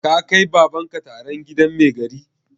Ka kai Baban ka taron gidan mai gari?